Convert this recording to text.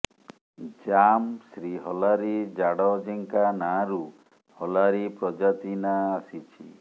ଜାମ ଶ୍ରୀ ହଲାରି ଜାଡଜେଙ୍କା ନାଁରୁ ହଲାରୀ ପ୍ରଜାତି ନାଁ ଆସିଛି